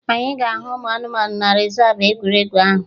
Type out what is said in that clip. Anyị ga-ahụ ụmụ anụmanụ na rezav egwuregwu ahụ